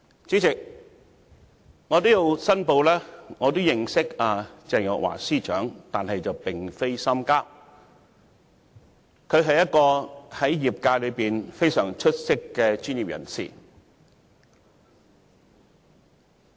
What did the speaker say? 主席，我要申報我認識鄭若驊司長，但並非深交，她在業界內是非常出色的專業人士。